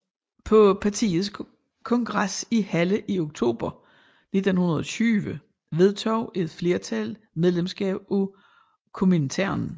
På partiets kongres i Halle i oktober 1920 vedtog et flertal medlemskab af Komintern